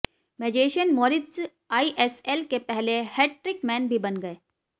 magician Moritz ISL के पहले hat trick man भी बन गए